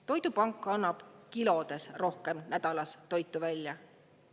Toidupank annab nädalas kilode võrra rohkem toitu välja.